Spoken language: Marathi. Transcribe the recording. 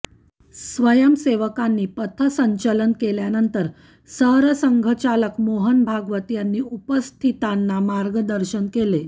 स्वयंसेवकांनी पथसंचलन केल्यानंतर सरसंघचालक मोहन भागवत यांनी उपस्थितांना मार्गदर्शन केले